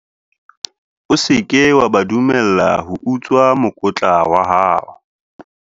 o se ke wa ba dumella ho utswa mokotla wa hao